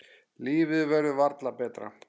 Lífið verður varla betra.